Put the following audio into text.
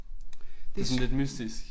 Det sådan lidt mystisk